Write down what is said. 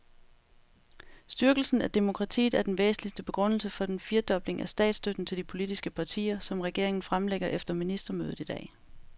Styrkelse af demokratiet er den væsentligste begrundelse for den firedobling af statsstøtten til de politiske partier, som regeringen fremlægger efter ministermødet i dag.